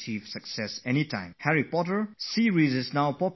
The Harry Potter series is now popular worldwide